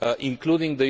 including